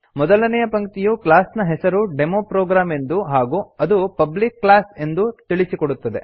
ಮೊದಲನೇಯ ಪಂಕ್ತಿಯು ಕ್ಲಾಸ್ ನ ಹೆಸರು ಡೆಮೊಪ್ರೊಗ್ರಾಮ್ ಎಂದೂ ಹಾಗೂ ಅದು ಪಬ್ಲಿಕ್ ಕ್ಲಾಸ್ ಎಂದೂ ತಿಳಿಸಿಕೊಡುತ್ತದೆ